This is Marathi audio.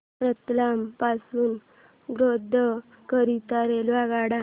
रतलाम पासून गोध्रा करीता रेल्वेगाड्या